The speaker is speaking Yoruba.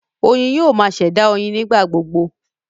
Oyin yoo ma ṣẹ̀dá oyin nigbagbogbo